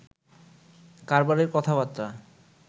কারবারের কথাবর্তা